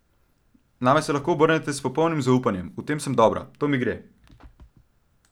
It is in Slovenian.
Name se lahko obrnete s popolnim zaupanjem, v tem sem dobra, to mi gre!